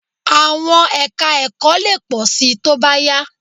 À̀wọn ẹka-ẹ̀kọ́ lè pọ̀ síi tó bá yá